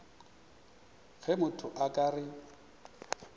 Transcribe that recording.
ge motho a ka re